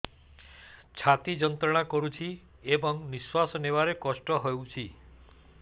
ଛାତି ଯନ୍ତ୍ରଣା କରୁଛି ଏବଂ ନିଶ୍ୱାସ ନେବାରେ କଷ୍ଟ ହେଉଛି